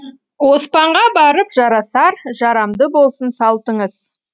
оспанға барып жарасар жарамды болсын салтыңыз